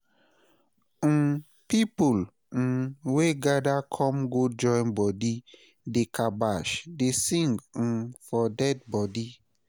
um pipol um wey gada kom go join bodi dey kabash dey sing um for dead bodi